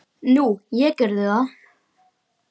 Nú, ég gerði það.